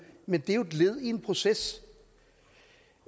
men det er jo et led i en proces